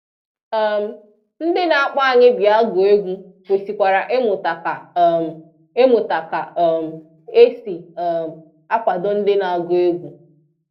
um Ndị na-akpọ anyị bịa gụọ egwu kwesikwara ịmụta ka um ịmụta ka um e si um akwado ndị na-agụ egwu